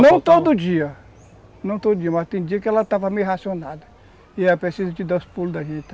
Não todo dia, mas tem dia que ela estava meio racionada e ela precisava de dar os pulos da gente.